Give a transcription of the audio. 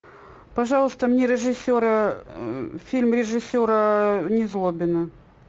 пожалуйста мне режиссера фильм режиссера незлобина